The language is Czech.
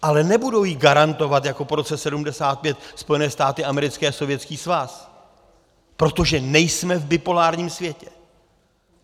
Ale nebudou ji garantovat jako po roce 1975 Spojené státy americké a Sovětský svaz, protože nejsme v bipolárním světě.